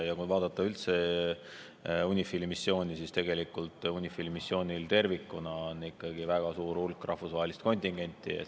Kui vaadata üldse UNIFIL‑i missiooni, siis tegelikult UNIFIL‑i missioonil tervikuna on ikkagi väga suur hulk rahvusvahelist kontingenti.